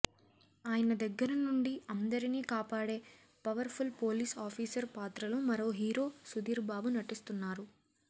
ఆయన దగ్గర నుండి అందరినీ కాపాడే పవర్ఫుల్ పోలీస్ ఆఫీసర్ పాత్రలో మరో హీరో సుధీర్బాబు నటిస్తున్నారు